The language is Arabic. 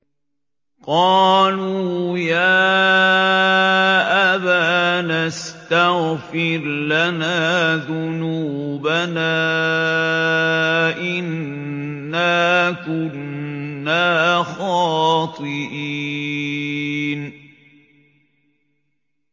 قَالُوا يَا أَبَانَا اسْتَغْفِرْ لَنَا ذُنُوبَنَا إِنَّا كُنَّا خَاطِئِينَ